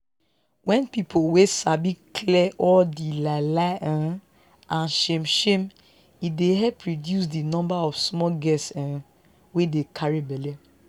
wen people wey sabi clear all di lie lie um and shame shame e dey help reduce di number of small girls um wey dey carry belle